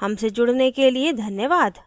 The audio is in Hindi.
हमसे जुड़ने के लिए धन्यवाद